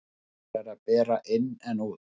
Nær er að bera inn en út.